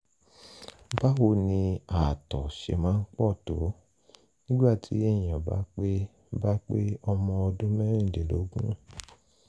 báwo ni ààtọ̀ ṣe máa pọ̀ tó nígbà tí èèyàn bá pé bá pé ọmọ ọdún mẹ́rìndínlógún?